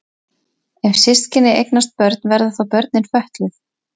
Ef systkini eignast börn verða þá börnin fötluð?